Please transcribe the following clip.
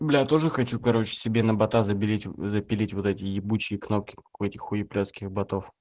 бля тоже хочу короче себе на бота забелить запилить вот эти ебучие кнопки как у этих хуеплестких ботов